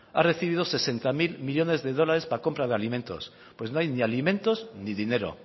ha recibido sesenta mil millónes de dólares para compra de alimentos pues no hay ni alimentos ni dinero